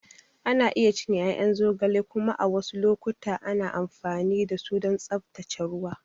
Ana iya cinye ƴaƴan zogale kuma a wasu lokuta ana amfani da su don tsaftace ruwa.